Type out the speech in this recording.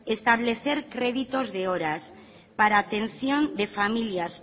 establecer créditos de horas para atención de familias